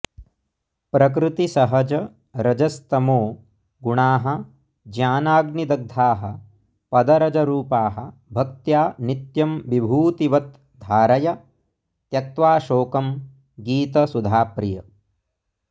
प्रकृतिसहज रजस्तमो गुणाः ज्ञानाग्निदग्धाः पदरजरूपाः भक्त्या नित्यं विभूतिवत् धारय त्यक्त्वा शोकं गीतसुधाप्रिय